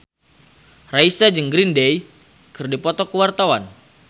Raisa jeung Green Day keur dipoto ku wartawan